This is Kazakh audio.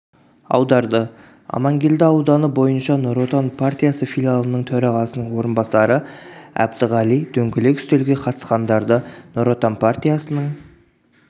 аударды амангелді ауданы бойынша нұр-отан партиясы филиалының төрағасының орынбасары әбдіғали дөңгелек үстелге қатысқандарды нұр-отан партиясының